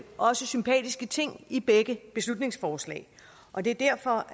også sympatiske ting i begge beslutningsforslag og det er derfor